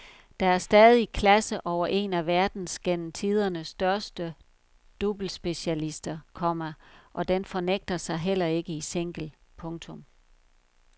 Der er stadig klasse over en af verdens gennem tiderne største doublespecialister, komma og den fornægter sig heller ikke i single. punktum